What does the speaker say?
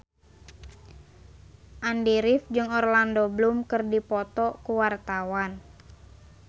Andy rif jeung Orlando Bloom keur dipoto ku wartawan